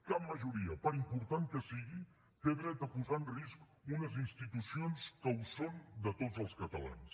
cap majoria per important que sigui té dret a posar en risc unes institucions que ho són de tots els catalans